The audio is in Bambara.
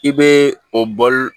I bɛ o bɔ